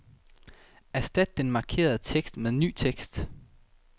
Erstat den markerede tekst med ny tekst.